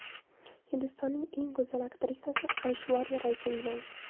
Hindistonning eng go‘zal aktrisasi Ayshvariya Rayga uylangan.